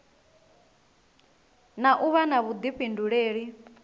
na u vha na vhuḓifhinduleli